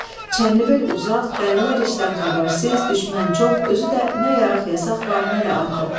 Çənlibel uzaq, dəlilər işdən xəbərsiz, düşmən çox, özü də nə yaraq-yasaq var, nə də atı.